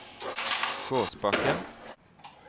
Gåsbakken